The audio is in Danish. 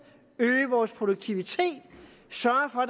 øge vores produktivitet sørge for